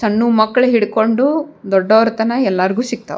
ಸಣ್ಣು ಮಕ್ಳು ಇಟ್ಕೊಂಡು ದೊಡ್ಡವರ ತನ ಎಲ್ಲಾರ್ಗ್ ಸಿಗ್ತಾವ.